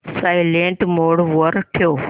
silent mode वर ठेव